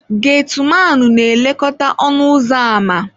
Geti Manu na-elekọta ọnụ ụzọ ámá.